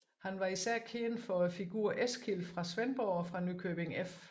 Han var især kendt for figuren Eskild fra Svendborg og fra Nykøbing F